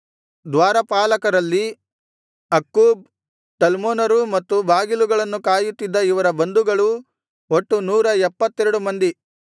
ದ್ವಾರಪಾಲಕರಲ್ಲಿ Akkub ಟಲ್ಮೋನರೂ ಮತ್ತು ಬಾಗಿಲುಗಳನ್ನು ಕಾಯುತ್ತಿದ್ದ ಇವರ ಬಂಧುಗಳೂ ಒಟ್ಟು ನೂರ ಎಪ್ಪತ್ತೆರಡು ಮಂದಿ